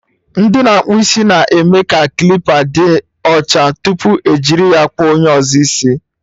Ndị na-akpụ isi na-eme ka klipa dị ọcha tupu ejiri ya kpụọ onye ọzọ isi